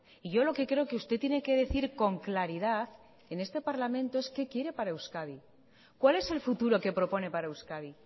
y yo lo que creo que usted tiene que decir con claridad en este parlamento es qué quiere para euskadi cuál es el futuro que propone para euskadi